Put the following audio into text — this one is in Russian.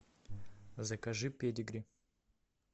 закажи педигри